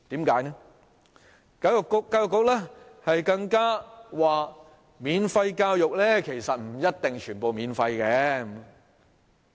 教育局更說免費教育，不一定全部免費。